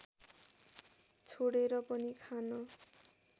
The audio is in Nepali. छोडेर पनि खान